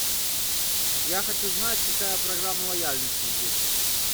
я хочу знать какая программа лояльности здесь